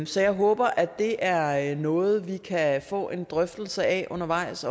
så jeg håber at det er er noget vi kan få en drøftelse af undervejs